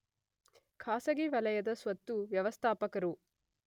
ಖಾಸಗಿ ವಲಯದ ಸ್ವತ್ತು ವ್ಯವಸ್ಥಾಪಕರು